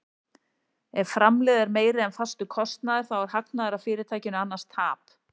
Ef framlegð er meiri en fastur kostnaður þá er hagnaður af fyrirtækinu, annars tap.